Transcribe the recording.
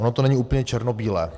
Ono to není úplně černobílé.